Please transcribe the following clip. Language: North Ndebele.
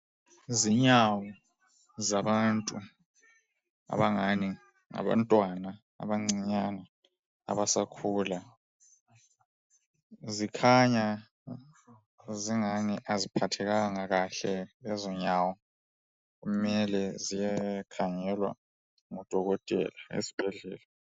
Izinyawo zabantu abangani ngabantwana abancinyani abasakhula. Zikhanya zingani aziphathekanga kahle lezo nyawo, kumele ziyekhangelwa ngodokotela esibhedhlela.